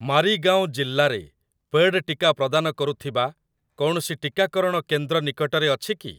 ମାରିଗାଓଁ ଜିଲ୍ଲାରେ ପେଡ଼୍‌ ଟିକା ପ୍ରଦାନ କରୁଥିବା କୌଣସି ଟିକାକରଣ କେନ୍ଦ୍ର ନିକଟରେ ଅଛି କି ?